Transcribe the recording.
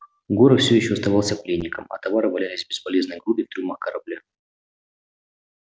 горов всё ещё оставался пленником а товары валялись бесполезной грудой в трюмах корабля